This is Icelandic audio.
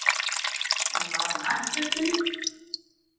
Hann var á nærfötunum.